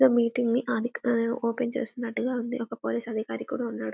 ఈ మీటింగ్ ని ఓపెన్ చేస్తున్నట్టుగా ఉన్నారు ఒక పోలీస్ అధికారి కూడా ఉన్నాడు